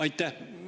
Aitäh!